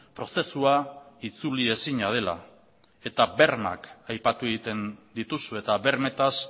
prozesua itzuli ezina dela eta bermeak aipatu egiten dituzu eta bermetaz